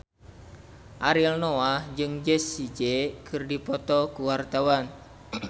Ariel Noah jeung Jessie J keur dipoto ku wartawan